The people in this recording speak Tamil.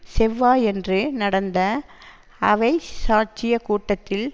செவ்வாயன்று நடந்த அவை சாட்சிய கூட்டத்தில்